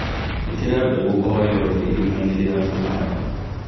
Īkĩra mbegũ o yothe irima-inĩ rĩa kũhanda